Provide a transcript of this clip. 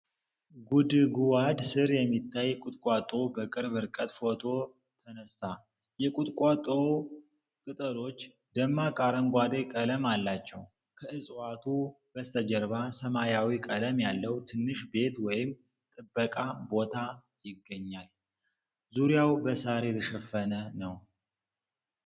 ጉድጉዋድ ሥር የሚታይ ቁጥቋጦ በቅርብ ርቀት ፎቶ ተነሳ። የቁጥቋጦው ቅጠሎች ደማቅ አረንጓዴ ቀለም አላቸው። ከዕፅዋቱ በስተጀርባ ሰማያዊ ቀለም ያለው ትንሽ ቤት ወይም ጥበቃ ቦታ ይገኛል። ዙሪያው በሳር የተሸፈነ ነው።